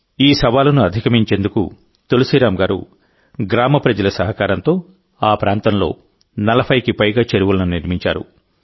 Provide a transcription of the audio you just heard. ఈ సవాలును అధిగమించేందుకు తులసీరాం గారు గ్రామ ప్రజల సహకారంతో ఆ ప్రాంతంలో 40కి పైగా చెరువులను నిర్మించారు